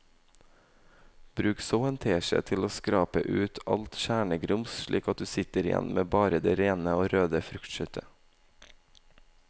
Bruk så en teskje til å skrape ut alt kjernegrums slik at du sitter igjen med bare det rene og røde fruktkjøttet.